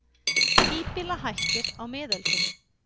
Híbýlahættir á miðöldum.